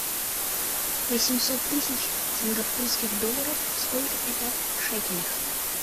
восемьсот тысяч сингапурских долларов сколько это в шекелях